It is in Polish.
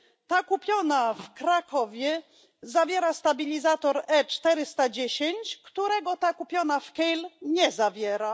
Ten kupiony w Krakowie zawiera stabilizator E410, którego ten kupiony w Kehl nie zawiera.